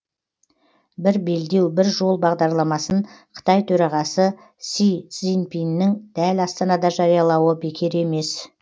бір белдеу бір жол бағдарламасын қытай төрағасы си цзиньпиннің дәл астанада жариялауы бекер емес